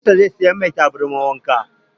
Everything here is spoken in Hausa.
Yayansa zai saya mai taya.